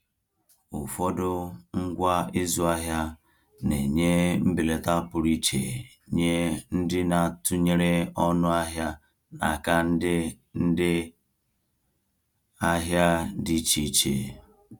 Ụfọdụ ngwa ịzụ ahịa na-enye mbelata pụrụ iche nye ndị na-atụnyere ọnụ ahịa n’aka ndị ndị ahịa dị iche iche.